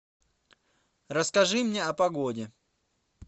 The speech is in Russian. расскажи мне о погоде